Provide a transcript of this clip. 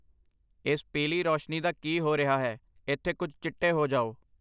ਇਸ ਪੀਲੀ ਰੋਸ਼ਨੀ ਦਾ ਕੀ ਹੋ ਰਿਹਾ ਹੈ, ਇੱਥੇ ਕੁਝ ਚਿੱਟੇ ਹੋ ਜਾਓ